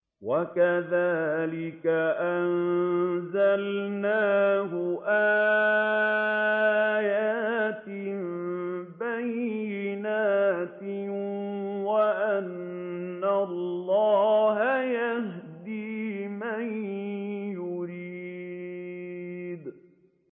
وَكَذَٰلِكَ أَنزَلْنَاهُ آيَاتٍ بَيِّنَاتٍ وَأَنَّ اللَّهَ يَهْدِي مَن يُرِيدُ